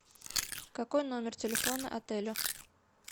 какой номер телефона отеля